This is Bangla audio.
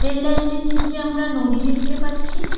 রেললাইন -টির নীচে আমরা নদী দেখতে পাচ্ছি।